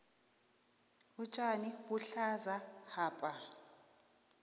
utjani buhlaza hapa